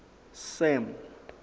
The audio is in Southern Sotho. sam